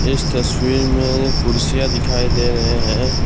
इस तस्वीर में कुर्सियां दिखाई दे रहे हैं।